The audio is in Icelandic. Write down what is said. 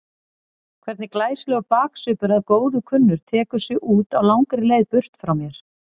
Hvernig glæsilegur baksvipur að góðu kunnur tekur sig út á langri leið burt frá mér.